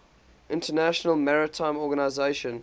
international maritime organization